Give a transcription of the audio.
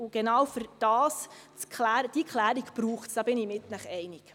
Diese Klärung braucht es, da bin ich mit Ihnen einig.